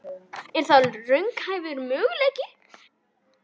Er það raunhæfur möguleiki?